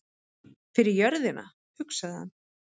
Fyrir jörðina, hugsaði hann.